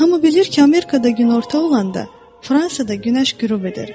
Hamı bilir ki, Amerikada günorta olanda, Fransada günəş qürub edir.